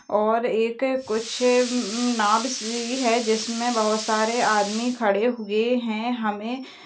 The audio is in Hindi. और एक कुछ नाँव सी है जिसमें बहुत सारे आदमी खड़े हुए है हमें--